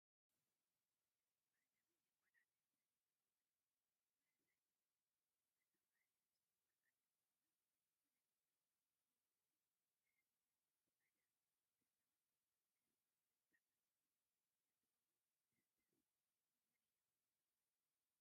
እዚ ባህላዊ ናይ ቆልዓ መሕዘሊ እንትከዉን ማሕዘል እዳተባህለ ዝፂዋዒ እንትከዉን ወለድና በኡኡ ሃዝለን እንተከዳ ዘለዎ ግርማ ብጣዓሚ ፂቡቅ እንትከውን ደሰደሰ ይብል እዩ።